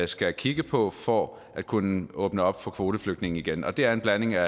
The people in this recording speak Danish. skal kigge på for at kunne åbne op for kvoteflygtninge igen og det er en blanding af